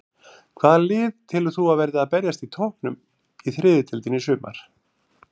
Hvaða lið telur þú að verði að berjast á toppnum í þriðju deildinni í sumar?